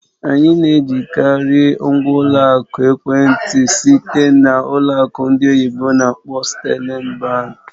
Anyị na-ejikarị ngwa ụlọ akụ ekwentị site nke ụlọ akụ ndị oyibo n'akpọ "Sterling Bank"